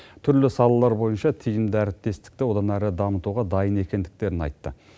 түрлі салалар бойынша тиімді әріптестікті одан әрі дамытуға дайын екендіктерін айтты